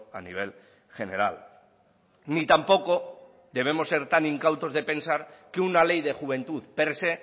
a nivel general ni tampoco debemos ser tan incautos de pensar que una ley de juventud per se